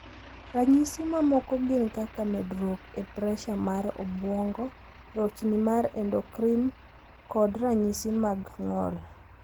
Ranyisi mamoko gin kaka medruok e presha mar obuongo, rochni mar endocrine, kod ranyisi mag ng`ol.